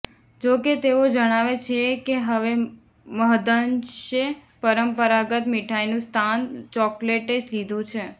જોકે તેઓ જણાવે છે કે હવે મહદ્અંશે પરંપરાગત મીઠાઈનું સ્થાન ચોકોલેટે લીધું છે